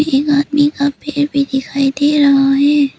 एक आदमी का पैर भी दिखाई दे रहा है।